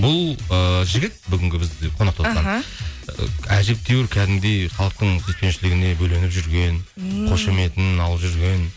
бұл ыыы жігіт бүгінгі бізде қонақта отырған аха әжептеуір кәдімгідей халықтың сүйіспеншілігіне бөленіп жүрген ммм қошеметін алып жүрген